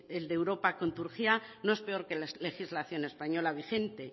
el de europa con turquía no es peor que la legislación española vigente